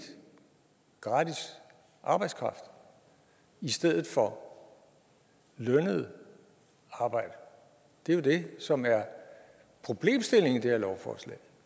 gratis arbejdskraft i stedet for lønnet arbejde det er jo det som er problemstillingen i det her lovforslag